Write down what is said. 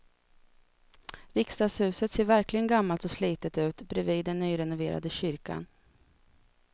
Riksdagshuset ser verkligen gammalt och slitet ut bredvid den nyrenoverade kyrkan.